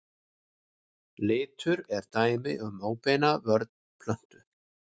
Litur er dæmi um óbeina vörn plöntu.